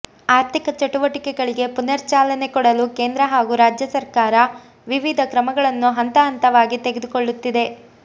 ಆರ್ಥಿಕ ಚಟುವಟಿಕೆಗಳಿಗೆ ಪುನರ್ ಚಾಲನೆ ಕೊಡಲು ಕೇಂದ್ರ ಹಾಗೂ ರಾಜ್ಯ ಸರ್ಕಾರ ವಿವಿಧ ಕ್ರಮಗಳನ್ನು ಹಂತ ಹಂತವಾಗಿ ತೆಗೆದುಕೊಳ್ಳುತ್ತಿದೆ